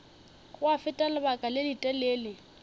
gwa feta lebaka le letelele